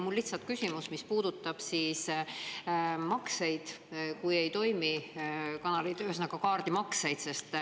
Mul on lihtsalt küsimus, mis puudutab makseid siis, kui kanalid ei toimi, ühesõnaga kaardimakseid.